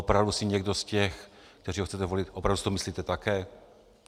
Opravdu si někdo z těch, kteří ho chcete volit, opravdu si to myslíte také?